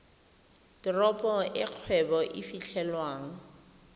teropo e kgwebo e fitlhelwang